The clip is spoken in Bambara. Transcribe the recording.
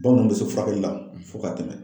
Bamananw bɛ se furakɛli la fo k'a tɛmɛ!